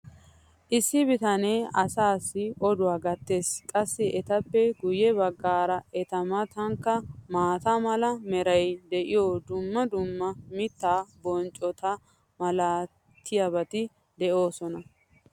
issi bitanee asaassi oduwa gatees. qassi etappe guye bagaara eta matankka maata mala meray diyo dumma dumma mitaa bonccota malatiyaabati de'oosona.